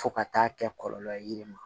Fo ka taa kɛ kɔlɔlɔ ye yiri ma